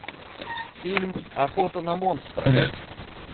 фильм охота на монстра